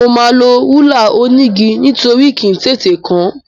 Mo máa lo rúlà onígi nítorí kì í tètè kán.